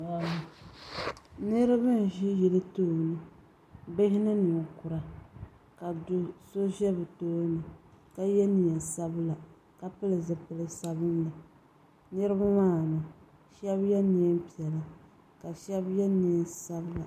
niriba n ʒɛ yili tuuni bihi ni niŋ kura ka do ʒɛ bi tuuni ka yɛ nɛɛsabila ka pɛli zibisabinli niriba maani shɛbi yɛ nɛɛʒiɛhi ka shɛbi yɛ nɛɛsabila